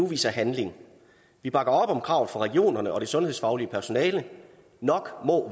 vise handling vi bakker op om kravet fra regionerne og det sundhedsfaglige personale nok må